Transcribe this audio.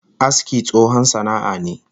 Aski tsohon sana'a ne